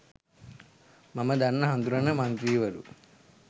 මම දන්න හඳුනන මන්ත්‍රීවරු.